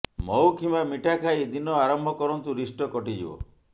ମହୁ କିମ୍ବା ମିଠା ଖାଇ ଦିନ ଆରମ୍ଭ କରନ୍ତୁ ରିଷ୍ଟ କଟିଯିବ